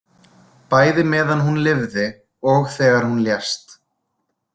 Bæði meðan hún lifði og þegar hún lést.